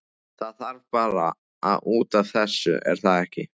Það var bara út af þessu, er það ekki?